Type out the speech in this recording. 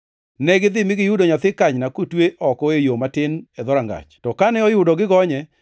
Negidhi mi giyudo nyathi kanyna kotwe oko e yo matin e dhorangach. To kane oyudo gigonye,